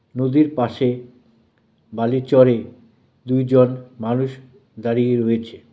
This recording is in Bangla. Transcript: নদীর পাশে বালির চরে দুইজন মানুষ দাঁড়িয়ে রয়েছে.